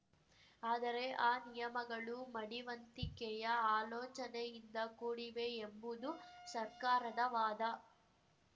ಆದರೆ ಆ ನಿಯಮಗಳು ಮಡಿವಂತಿಕೆಯ ಆಲೋಚನೆಯಿಂದ ಕೂಡಿವೆ ಎಂಬುದು ಸರ್ಕಾರದ ವಾದ